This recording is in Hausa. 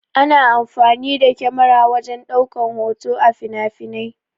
Ana amfani da kyamara wajen ɗaukan hoto a finafinai.